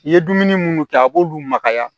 I ye dumuni munnu kɛ a b'olu makaya